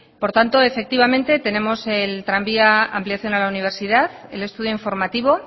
por tanto efectivamente tenemos el tranvía ampliación a la universidad el estudio informativo